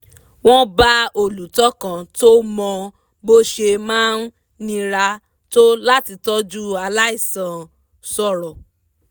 wọ́n bá olùtọ́ kan tó mọ bó ṣe máa ń nira tó láti tọ́jú aláìsàn sọ̀rọ̀